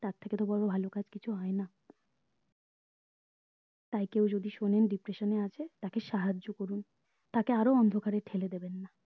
তার থেকে তো বড়ো ভালো কাজ কিছু হয়না তাই কেউ যদি শোনেন depression এ আছে তাকে সাহায্য করুন তাকে আরো অন্ধকারে ঠেলে দেবেন না